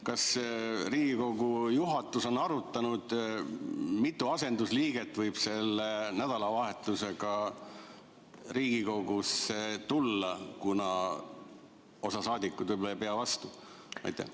Kas Riigikogu juhatus on arutanud, mitu asendusliiget võib selle nädalavahetusega Riigikogusse tulla, kuna osa saadikuid võib-olla ei pea vastu?